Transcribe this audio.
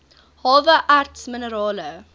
hawe erts minerale